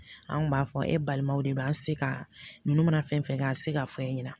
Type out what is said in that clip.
An kun b'a fɔ e balimaw de b'an se ka ninnu mana fɛn fɛn kɛ k'an se k'a fɔ an ɲɛna